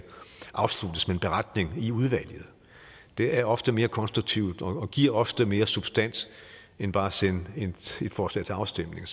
afsluttes med en beretning i udvalget det er ofte mere konstruktivt og giver ofte mere substans end bare at sende et forslag til afstemning